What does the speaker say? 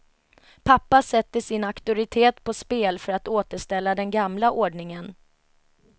Pappa sätter sin auktoritet på spel för att återställa den gamla ordningen.